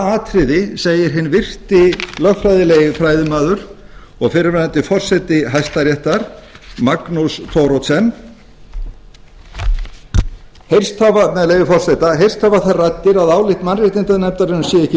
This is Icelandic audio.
atriði segi hinn virti lögfræðilegi fræðimaður og fyrrverandi forseti hæstaréttar magnús thoroddsen með leyfi forseta heyrst hafa þær raddir að álit mannréttindanefndarinnar sé ekki